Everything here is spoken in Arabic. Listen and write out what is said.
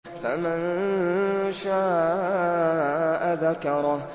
فَمَن شَاءَ ذَكَرَهُ